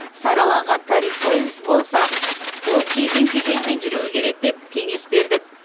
сараланған тариф болса ол кезең кезеңімен жүруі керек деп кеңес бердік